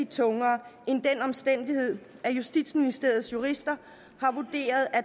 tungere end den omstændighed at justitsministeriets jurister har vurderet at